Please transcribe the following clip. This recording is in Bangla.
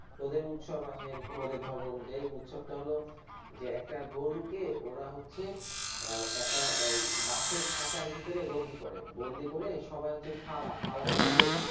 ওদের উৎসব আছে এরকম ওদের ধর্ম অনুযায়ী যে উৎসব টা হল যে একটা গরুকে ওরা হচ্ছে একটা বাঁশের খাঁচার ভেতরে বন্দি করে বন্দি করে সবাই হচ্ছে ফালা ফালা মানে যে,